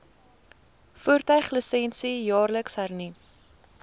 voertuiglisensie jaarliks hernu